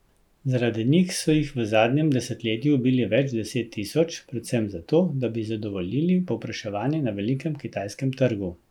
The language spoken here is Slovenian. Zaradi njih so jih v zadnjem desetletju ubili več deset tisoč, predvsem zato, da bi zadovoljili povpraševanje na velikem kitajskem trgu.